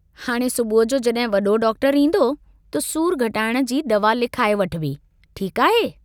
हाणे सुबुह जो जहिं वडो डाक्टरु ईन्दो त सूर घटाइण जी दवा लिखाए वठिबी, ठीक आहे।